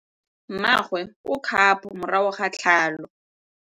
Mmagwe o kgapô morago ga tlhalô.